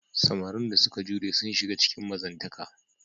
Samarin da suka jure sun shiga cikin mazantaka.